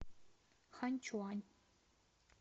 ханьчуань